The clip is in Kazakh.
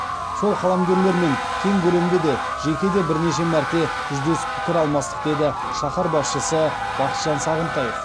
сол қаламгерлермен кең көлемде де жеке де бірнеше мәрте жүздесіп пікір алмастық деді шаһар басшысы бақытжан сағынтаев